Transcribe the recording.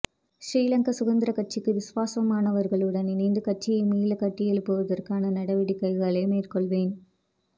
ஸ்ரீலங்கா சுதந்திரக்கட்சிக்கு விசுவாசமானவர்களுடன் இணைந்து கட்சியை மீள கட்டியெழுப்புவதற்கான நடவடிக்கைகளை மேற்கொள்வேன்